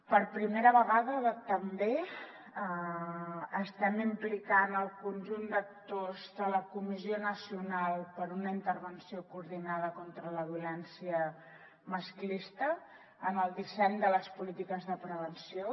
per primera vegada també estem implicant el conjunt d’actors de la comissió nacional per a una intervenció coordinada contra la violència masclista en el disseny de les polítiques de prevenció